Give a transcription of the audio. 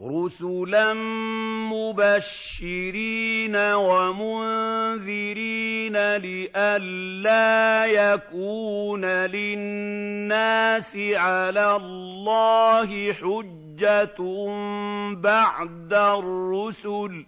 رُّسُلًا مُّبَشِّرِينَ وَمُنذِرِينَ لِئَلَّا يَكُونَ لِلنَّاسِ عَلَى اللَّهِ حُجَّةٌ بَعْدَ الرُّسُلِ ۚ